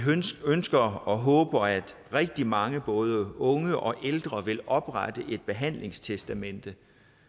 ønsker og håber at rigtig mange både unge og ældre vil oprette et behandlingstestamente